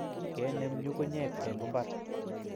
Kenem nyukunyek eng mbar